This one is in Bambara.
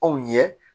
Anw ye